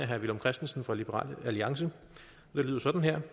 herre villum christensen fra liberal alliance det lyder sådan her